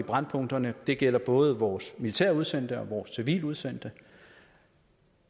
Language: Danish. brændpunkterne det gælder både vores militært udsendte og vores civilt udsendte